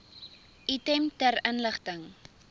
item ter inligting